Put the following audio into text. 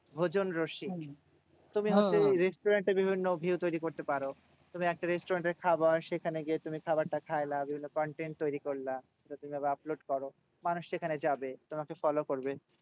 ভোজনরসিক, তুমি হচ্ছে restaurant এ বিভিন্ন view তৈরী করতে পারো। তুমি একটা restaurant এর খাবার সেখানে গিয়ে তুমি খাবারটা খাইলা। বিভিন্ন content তৈরী করলা। তুমি এবার upload করো। মানুষ সেখানে যাবে তোমাকে follow করবে।